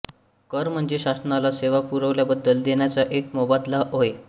कर म्हणजे शासनाला सेवा पुरवल्याबद्दल देण्याचा एक मोबदला होय